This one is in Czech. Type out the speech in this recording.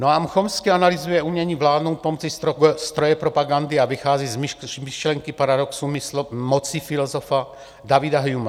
Noam Chomsky analyzuje umění vládnout pomocí stroje propagandy a vychází z myšlenky paradoxů moci filozofa Davida Humea.